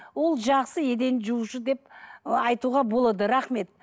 ол жақсы еден жуушы деп айтуға болады рахмет